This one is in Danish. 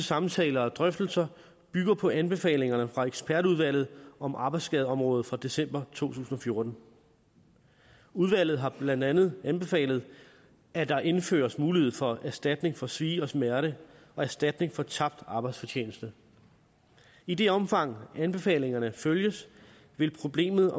samtaler og drøftelser bygger på anbefalingerne fra ekspertudvalget om arbejdsskadeområdet fra december tusind og fjorten udvalget har blandt andet anbefalet at der indføres mulighed for erstatning for svie og smerte og erstatning for tabt arbejdsfortjeneste i det omfang anbefalingerne følges vil problemet